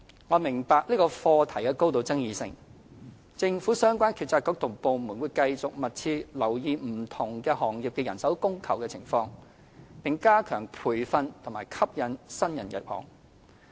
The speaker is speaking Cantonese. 我明白這個課題極具爭議，政府相關政策局及部門會繼續密切留意不同行業的人手供求情況，並加強培訓及吸引新人入行。